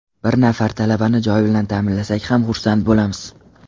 Bir nafar talabani joy bilan ta’minlasak ham xursand bo‘lamiz.